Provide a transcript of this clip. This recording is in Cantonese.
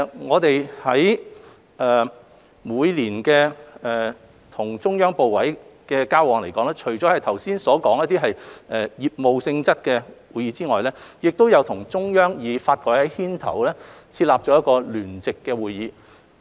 我們每年與中央部委的交流中，除剛才提及的業務性質的會議外，亦包括與中央發改委牽頭設立的一個聯席會議。